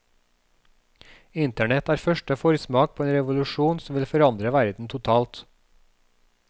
Internett er første forsmak på en revolusjon som vil forandre verden totalt.